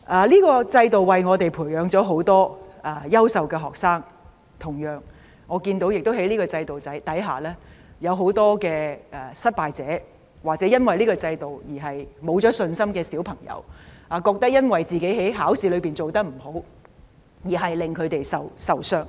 這個制度為我們培養很多優秀學生，但在這制度下，也有很多失敗者，或者因為這個制度而失去信心的小朋友，覺得自己在考試中表現不理想，而令他們灰心喪志。